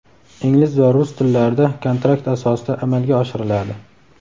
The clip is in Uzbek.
ingliz va rus tillarida kontrakt asosida amalga oshiriladi.